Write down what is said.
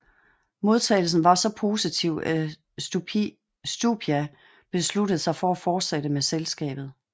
Modtagelsen var så positiv at Stupia besluttede sig for at fortsætte med selskabet